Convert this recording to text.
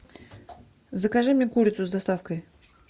закажи мне курицу с доставкой